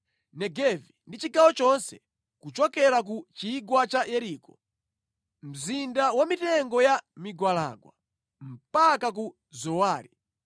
Negevi ndi chigawo chonse kuchokera ku Chigwa cha Yeriko, Mzinda wa mitengo ya migwalangwa, mpaka ku Zowari.